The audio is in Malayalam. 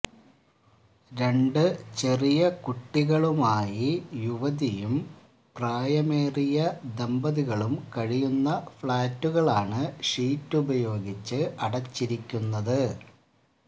രണ്ടു ചെറിയ കുട്ടികളുമായി യുവതിയും പ്രായമേറിയ ദമ്പതികളും കഴിയുന്ന ഫ്ലാറ്റുകളാണ് ഷീറ്റുപയോഗിച്ച് അടച്ചിരിക്കുന്നത്